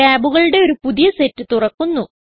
ടാബുകളുടെ ഒരു പുതിയ സെറ്റ് തുറക്കുന്നു